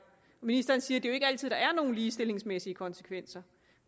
ministeren siger at der ikke altid er nogle ligestillingsmæssige konsekvenser